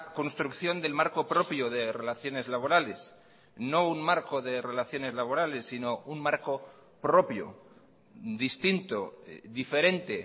construcción del marco propio de relaciones laborales no un marco de relaciones laborales sino un marco propio distinto diferente